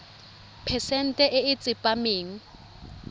phesente e e tsepameng